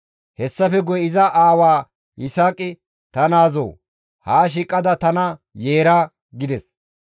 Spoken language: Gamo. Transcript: Hessafe guye iza aawa Yisaaqi, «Ta naazoo! Haa shiiqada tana yeera» gides.